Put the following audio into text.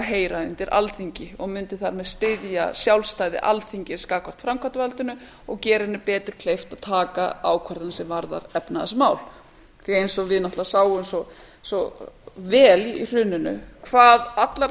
heyra undir alþingi og mundi þannig styðja sjálfstæði alþingis gagnvart framkvæmdarvaldinu og gera henni betur kleift að taka ákvörðun sem varðar efnahagsmál því að eins og við náttúrlega sáum svo vel í hruninu hvað allar